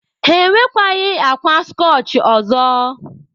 Ha enwekwaghị akwa skọchị ọzọ.